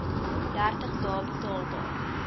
dertig dae betaalbaar